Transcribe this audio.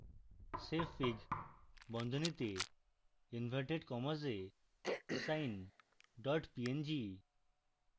savefig বন্ধনীতে inverted commas এ sine png